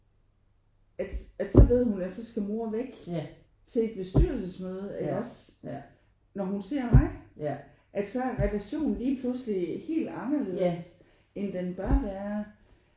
At at så ved hun at så skal mor væk til et bestyrelsesmøde iggås når hun ser mig at så er relationen lige pludselig helt anderledes end den bør være